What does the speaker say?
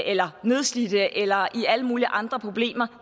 eller nedslidte eller har alle mulige andre problemer